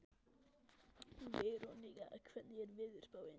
Veronika, hvernig er veðurspáin?